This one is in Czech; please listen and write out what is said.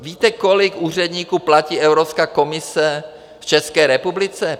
Víte kolik úředníků platí Evropská komise v České republice?